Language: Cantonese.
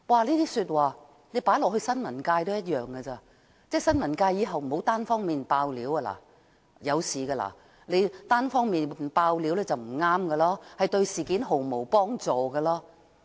這些說話放在新聞界也一樣，即新聞界以後不要單方面"爆料"，單方面"爆料"是不對的，對事件毫無幫助。